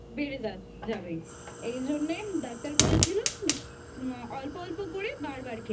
বেড়ে যাবে । এই জন্যে Doctor বলেছিল অল্প অল্প করে বারবার খেতে